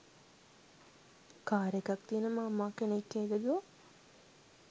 car එකක් තියන මාමා කෙනෙක්ගේ දූ